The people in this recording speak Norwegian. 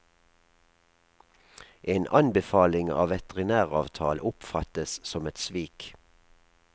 En anbefaling av veterinæravtalen oppfattes som et svik.